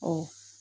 Ɔ